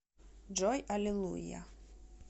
джой аллилуйя